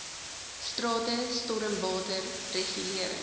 strate stormwater regulering